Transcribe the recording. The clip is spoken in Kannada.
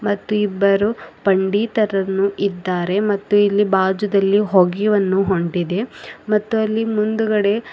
ಮತ್ತು ಇಬ್ಬರು ಪಂಡೀತರನ್ನು ಇದ್ದಾರೆ ಮತ್ತು ಇಲ್ಲಿ ಬಾಜುದಲ್ಲಿ ಹೊಗೆಯ ಹೊನ್ನು ಹೊಂಟಿದೆ ಮತ್ತು ಅಲ್ಲಿ ಮುಂದುಗಡೆ --